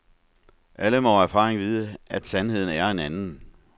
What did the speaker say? Alle må af erfaring vide, at sandheden er en anden.